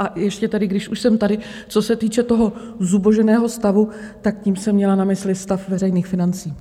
A ještě tedy, když už jsem tady, co se týče toho zuboženého stavu, tak tím jsem měla na mysli stav veřejných financí.